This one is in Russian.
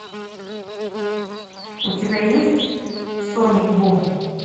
у тебя есть соник бум